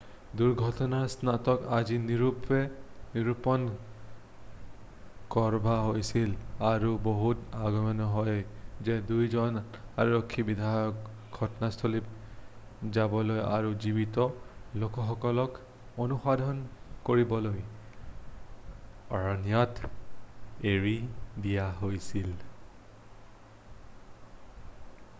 দুৰ্ঘটনাৰ স্থানটোক আজি নিৰুপণ কৰডা হৈছিল আৰু বহুত অগম্য হয় যে 2 জন আৰক্ষী বিষয়াক ঘটনাস্থললৈ যাবলৈ আৰু জীৱিত লোকসকলক অনুসন্ধান কৰিবলৈ অৰণ্যত এৰি দিয়া হৈছিল৷